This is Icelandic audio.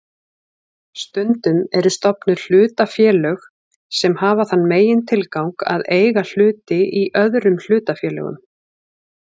Stundum eru stofnuð hlutafélög sem hafa þann megintilgang að eiga hluti í öðrum hlutafélögum.